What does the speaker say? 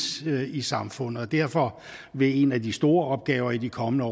i samfundet derfor vil en af de store opgaver i de kommende